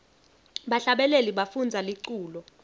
bahlabeleli bafundza liculo